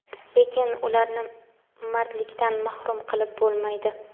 lekin ularni mardlikdan mahrum qilib bo‘lmaydi.